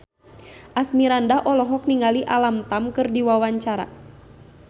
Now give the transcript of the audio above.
Asmirandah olohok ningali Alam Tam keur diwawancara